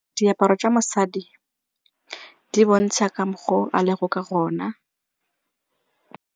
Diaparo tsa mosadi di bontsha ka mokgwa o a leng ka gona.